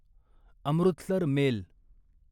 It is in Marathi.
अमृतसर मेल